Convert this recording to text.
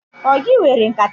Ọ gị were nkata mụ?